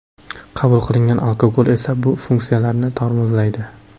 Qabul qilingan alkogol esa bu funksiyalarni tormozlaydi .